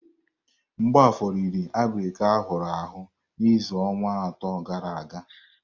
Mgbafor riri abirika ahụrụ ahụ na azụ̀ ọnwa atọ gara aga.